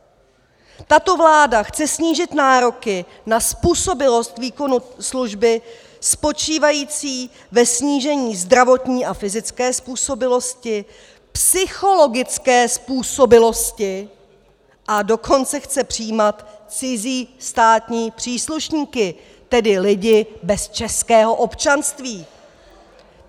Tato vláda chce snížit nároky na způsobilost výkonu služby spočívající ve snížení zdravotní a fyzické způsobilosti, psychologické způsobilosti, a dokonce chce přijímat cizí státní příslušníky, tedy lidi bez českého občanství!